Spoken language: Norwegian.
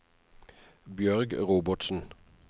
Bjørg Robertsen